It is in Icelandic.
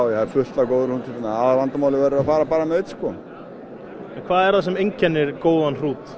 það er fullt af góðum hrútum hérna aðalvandamálið verður að fara bara með einn sko hvað er það sem einkennir góðan hrút